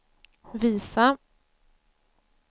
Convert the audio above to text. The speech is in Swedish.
visa